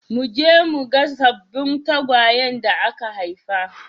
Mu je mu ga sabbin tagwayen da aka haifa.